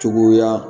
Cogoya